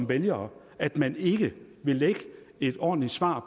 vælgerne at man ikke vil lægge et ordentligt svar